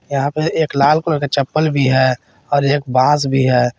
यहां पर एक लाल कलर का चप्पल भी है और एक बांस भी है।